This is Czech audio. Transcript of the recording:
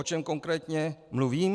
O čem konkrétně mluvím?